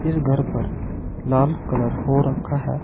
इस घर पर लाल कलर हो रखा है।